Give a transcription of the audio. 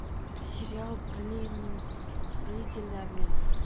сериал длительный обмен